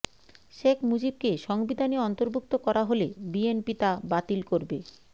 শেখ মুজিবকে সংবিধানে অন্তর্ভুক্ত করা হলে বিএনপি তা বাতিল করবে